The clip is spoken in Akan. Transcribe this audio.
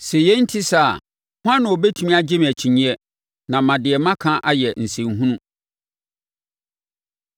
“Sɛ yei nte saa a, hwan na ɔbɛtumi agye me akyinnyeɛ na ama deɛ maka ayɛ nsɛnhunu?”